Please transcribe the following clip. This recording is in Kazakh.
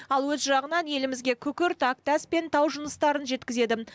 ал өз жағынан елімізге күкірт әктас пен тау жыныстарын жеткізеді